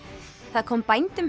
það kom bændum